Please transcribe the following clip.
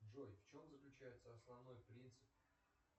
джой в чем заключается основной принцип